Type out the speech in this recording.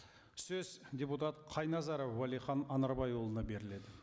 сөз депутат қайназаров уәлихан анарбайұлына беріледі